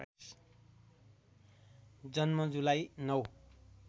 जन्म जुलाई ९